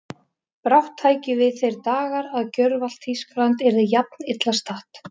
brátt tækju við þeir dagar að gjörvallt Þýskaland yrði jafn illa statt.